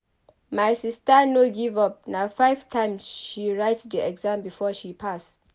My sista no give-up na five times she write di exam before she pass.